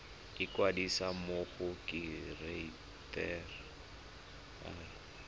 ikwadisa mo go kereite r